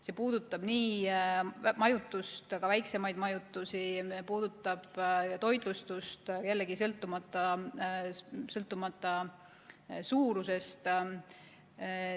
See puudutab nii majutust, ka väiksemaid majutusettevõtteid, puudutab toitlustust, jällegi sõltumata suurusest.